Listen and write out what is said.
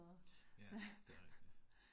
Ja, det rigtigt